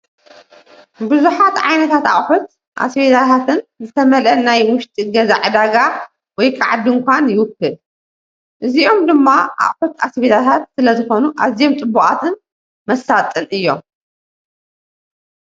ብዙሓት ዓይነታት ኣቑሑት ኣስቤዛታትን ዝተመልአ ናይ ውሽጢ ገዛ ዕዳጋ ወይ ከዓ ድንኳን ይውክል። እዚኦም ድማ ኣቑሑት ኣስቤዛታት ስለዝኾኑ ኣዝዮም ጽቡቓትን መሳጥን እዮም።